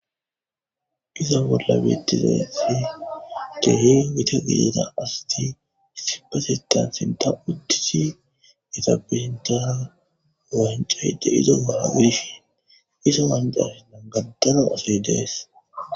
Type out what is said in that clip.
iza bolla beettizati kehe gita gidana asti issipasetan sinta uttisi yeta pusintana wancayde izo mara gidishin iso wancas nangantano asoy dees